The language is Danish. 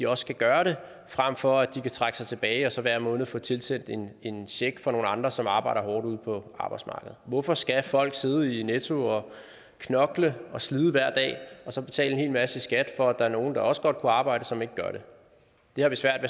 også skal gøre det frem for at de kan trække sig tilbage og så hver måned få tilsendt en check fra nogle andre som arbejder hårdt ude på arbejdsmarkedet hvorfor skal folk sidde i netto og knokle og slide hver dag og så betale en hel masse i skat for at der nogle der også godt kunne arbejde men som ikke gør det det har vi svært